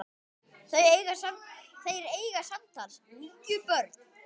Þeir eiga samtals níu börn.